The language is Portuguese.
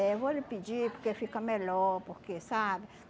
Eh vou lhe pedir porque fica melhor, porque, sabe?